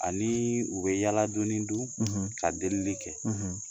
Ani u be yala doni dun ka delili kɛ.